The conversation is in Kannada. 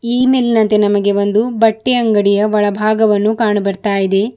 ಈ ಮೇಲಿನಂತೆ ನಮಗೆ ಒಂದು ಬಟ್ಟೆ ಅಂಗಡಿಯ ಒಳಭಾಗವನ್ನು ಕಾಣಬರ್ತಾಯಿದೆ.